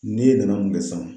N'i ye nana mun kɛ sisan